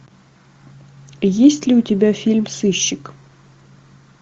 есть ли у тебя фильм сыщик